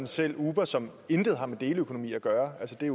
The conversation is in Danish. selv uber som intet har med deleøkonomi at gøre altså det